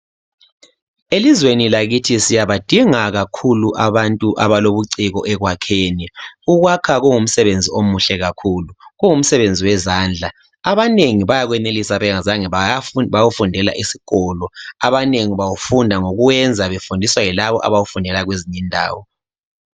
elizweni lakithi siyabadinga kakhulu abantu abalobuciko ekwakheni ukwaka kungumsebenzi omuhle kakhulu kungumsebenzi wezandla abanengi bayakwenelisa bengazange bayakufundela esikolo abanengi bawufunda ngokwenza befundiswa yilabo abawufundela kwezinye indawo